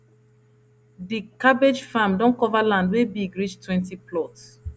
di cabbage farm don cover land wey big reach twenty plots